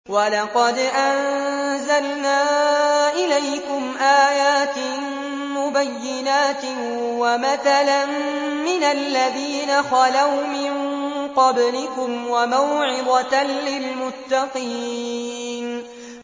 وَلَقَدْ أَنزَلْنَا إِلَيْكُمْ آيَاتٍ مُّبَيِّنَاتٍ وَمَثَلًا مِّنَ الَّذِينَ خَلَوْا مِن قَبْلِكُمْ وَمَوْعِظَةً لِّلْمُتَّقِينَ